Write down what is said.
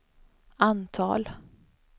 antal